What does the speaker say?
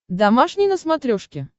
домашний на смотрешке